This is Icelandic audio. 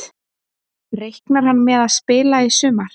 Reiknar hann með að spila í sumar?